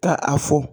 Ka a fɔ